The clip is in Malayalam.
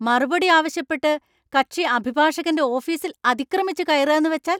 മറുപടി ആവശ്യപ്പെട്ട് കക്ഷി അഭിഭാഷകന്‍റെ ഓഫീസിൽ അതിക്രമിച്ചു കയറുകാന്നു വച്ചാല്‍?